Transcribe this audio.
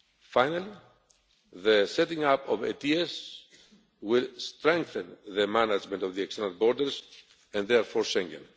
Finally, the setting up of the ADS will strengthen the management of the external borders and therefore Schengen.